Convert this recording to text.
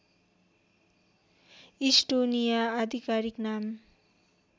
Estonia आधिकारिक नाम